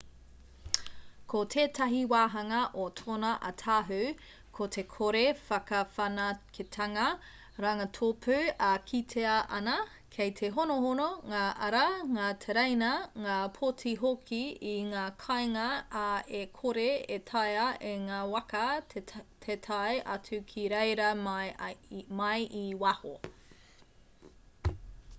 ko tētahi wāhanga o tōna ātahu ko te kore whakawhanaketanga rangatōpū e kitea ana kei te honohono ngā ara ngā tereina ngā pōti hoki i ngā kāinga ā e kore e taea e ngā waka te tae atu ki reira mai i waho